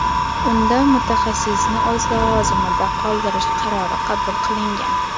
Unda mutaxassisni o‘z lavozimida qoldirish qarori qabul qilingan.